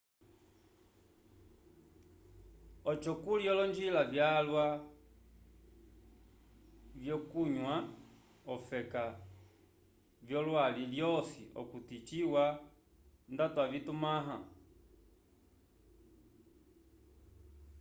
oco kuli olonjila vyalwa vyokunywa okafe v'olwali lwosi okuti ciwa nda tuvimãha